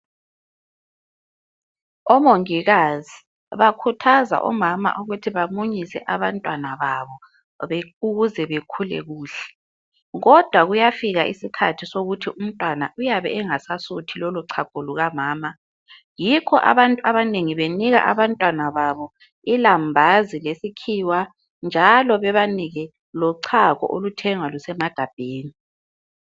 Umongikazi bakhuthaza omama ukuthi bamunyise abantwababo ukuze bekhule kuhle kodwa kuyafika isikhathi ukuthi umntwana uyabe engasasuthi lolochago lukamama yikho abantu abanengi benika abantwababo ilambazi lesikhiwa lochago oluthengwa lusemagabheni.